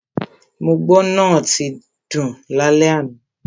Mo gbọ́ náà tín dún lálẹ́ àná.